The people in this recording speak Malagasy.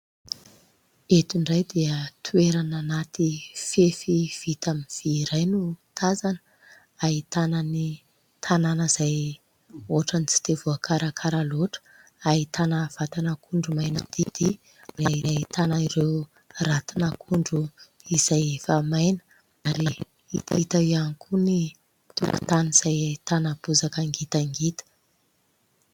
Eto indray dia toerana anaty fefy vita amin'ny vy iray no tazana. Ahitana ny tanàna izay ohatra ny tsy dia voakarakara loatra, ahitana vatan'akondro maina didy ary ahitana ireo ratin'akondro izay efa maina, ary hita koa ny tokontany izay ahitana bozaka ngitangita.